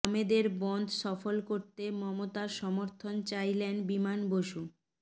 বামেদের বনধ সফল করতে মমতার সমর্থন চাইলেন বিমান বসু